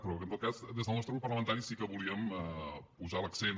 però que en tot cas des del nostre grup parlamentari sí que volíem posar l’accent